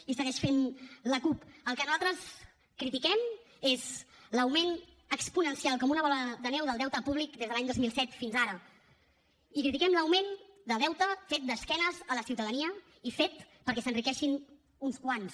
i segueix fent la cup el que nosaltres critiquem és l’augment exponencial com una bola de neu del deute públic des de l’any dos mil set fins ara i critiquem l’augment de deute fet d’esquenes a la ciutadania i fet perquè s’enriqueixin uns quants